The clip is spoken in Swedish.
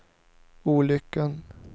olyckan